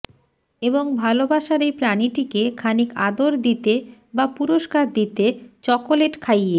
এবং ভালোবাসার এই প্রাণীটিকে খানিক আদর দিতে বা পুরস্কার দিতে চকোলেট খাইয়ে